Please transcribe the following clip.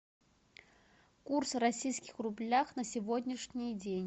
курс в российских рублях на сегодняшний день